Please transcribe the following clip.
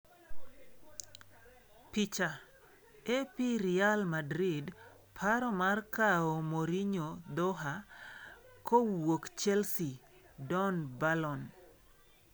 Picha: AP Real Madrid paro mar kawo Mourino Dhoha kowuok Chelsea (Don Balon).